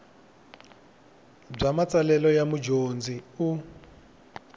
bya matsalelo ya mudyondzi u